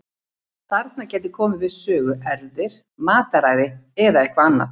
Þarna gætu komið við sögu erfðir, mataræði eða eitthvað annað.